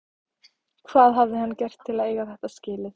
Hvað hafði hann gert til að eiga þetta skilið?